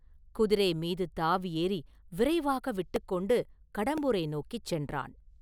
குதிரை மீது தாவி ஏறி விரைவாக விட்டுக்கொண்டு கடம்பூரை நோக்கிச் சென்றான்.